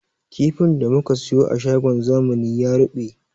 Kifin da muka siyo a shagon zamani ya ruɓe